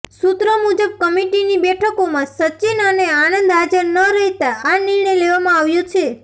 સૂત્રો મુજબ કમિટીની બેઠકોમાં સચિન અને આનંદ હાજર ન રહેતા આ નિર્ણય લેવામાં આવ્યો છે